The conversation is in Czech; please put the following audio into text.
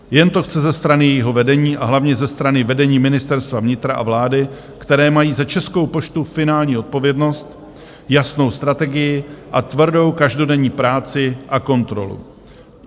Jen to chce ze strany jejího vedení a hlavně ze strany vedení Ministerstva vnitra a vlády, které mají za Českou poštu finální odpovědnost, jasnou strategii a tvrdou každodenní práci a kontrolu.